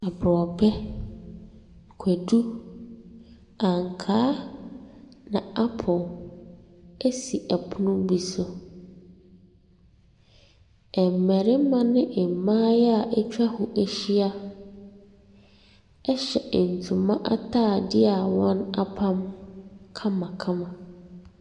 Abrɔbɛ, kwadu, ankaa, na apple esi ɛpono bi so. Mmarima ne mmaayewa atwa ho ahyia ɛhyɛ ntoma ataadeɛ a wɔapam kamakama.